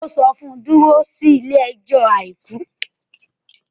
Ó sọ fún un pe: dúró sí ilé ní ọjọ́ àìkú.